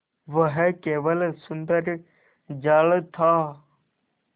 वह केवल सुंदर जाल था